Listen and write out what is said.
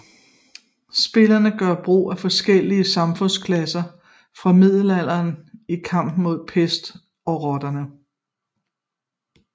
Spillerne gør brug af forskellige samfundsklasser fra middelalderen i kampen mod pesten og rotterne